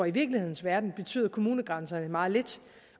i virkelighedens verden betyder kommunegrænserne meget lidt